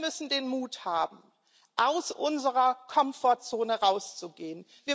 Wir müssen den Mut haben, aus unserer Komfortzone herauszugehen.